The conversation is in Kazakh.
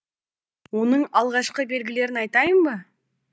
оның алғашқы белгілерін айтайын ба